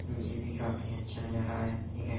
यह भी काफी अच्छा नज़ारा है ठीक है।